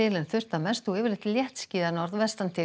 en þurrt að mestu og yfirleitt léttskýjað